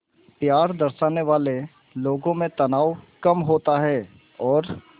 प्यार दर्शाने वाले लोगों में तनाव कम होता है और